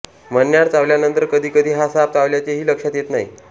मण्यार चावल्यानंतर कधी कधी हा साप चावल्याचेही लक्षात येत नाही